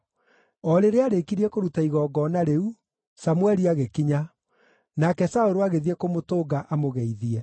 O rĩrĩa aarĩkirie kũruta igongona rĩu, Samũeli agĩkinya, nake Saũlũ agĩthiĩ kũmũtũnga amũgeithie.